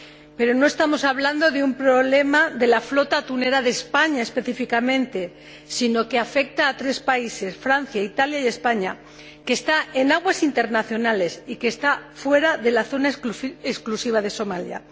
Pero no estamos hablando de un problema de la flota atunera de España específicamente, sino que afecta a tres países —Francia, Italia y España—, que están faenando en aguas internacionales y fuera de la zona exclusiva de Somalia.